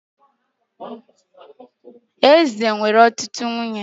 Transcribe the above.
Eze nwere ọtụtụ nwunye